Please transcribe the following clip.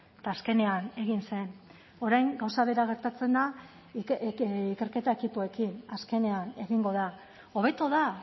eta azkenean egin zen orain gauza bera gertatzen da ikerketa ekipoekin azkenean egingo da hobeto da